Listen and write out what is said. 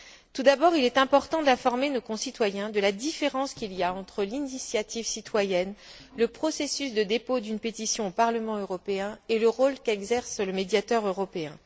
Tout d'abord, il est important d'informer nos concitoyens de la différence qu'il y a entre l'initiative citoyenne, le processus de dépôt d'une pétition au Parlement européen et le rôle qu'exerce le médiateur européen.